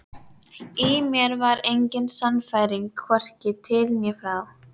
Í mér var engin sannfæring, hvorki til né frá.